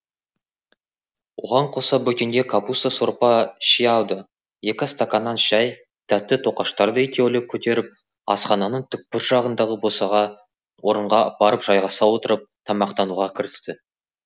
оған қоса бөкенге капуста сорпа ши алды екі стаканнан шәй тәтті тоқаштарды екеулеп көтеріп асхананың түкпір жағындағы босаға орынға барып жайғаса отырып тамақтануға кірісті